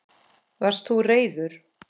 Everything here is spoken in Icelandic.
Varst þú reiður?